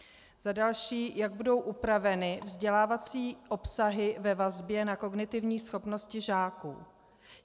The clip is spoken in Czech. Za další, jak budou upraveny vzdělávací obsahy ve vazbě na kognitivní schopnosti žáků?